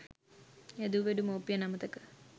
හැදූ වැඩූ මවුපියන් අමතක